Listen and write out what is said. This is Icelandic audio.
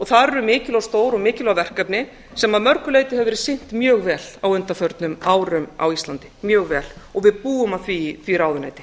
mjög mikil og stór og mikilvæg verkefni sem hefur af mörgum verið sinnt mjög vel á undanförnum árum á íslandi mjög vel og við búum því ráðuneyti